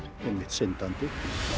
syndandi